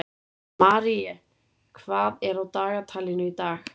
Marie, hvað er á dagatalinu í dag?